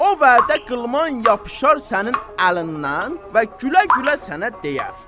O vədə qılman yapışar sənin əlindən və gülə-gülə sənə deyər: